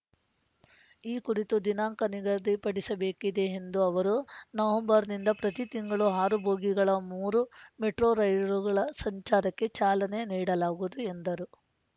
ಈ ಕುರಿತು ದಿನಾಂಕ ನಿಗದಿಪಡಿಸಬೇಕಿದೆ ಎಂದ ಅವರು ನವೆಂಬರ್‌ನಿಂದ ಪ್ರತಿ ತಿಂಗಳು ಆರು ಬೋಗಿಗಳ ಮೂರು ಮೆಟ್ರೋ ರೈಲುಗಳ ಸಂಚಾರಕ್ಕೆ ಚಾಲನೆ ನೀಡಲಾಗುವುದು ಎಂದರು